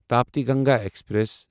Tapti Ganga express